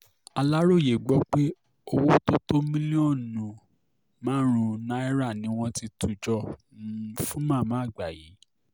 aláròye gbọ́ pé owó tó lé ní mílíọ̀nù márùn-ún um náírà ni wọ́n ti tù jọ um fún màmá àgbà yìí